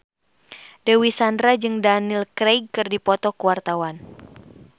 Dewi Sandra jeung Daniel Craig keur dipoto ku wartawan